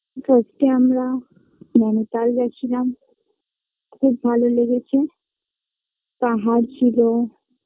first -এ আমরা নৈনিতাল গেছিলাম খুব ভালো লেগেছে পাহাড় ছিল।